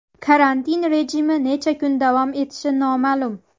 Karantin rejimi necha kun davom etishi noma’lum.